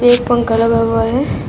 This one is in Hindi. एक पंख लगा हुआ है।